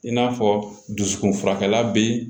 In n'a fɔ dusukun furakɛ